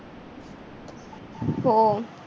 हो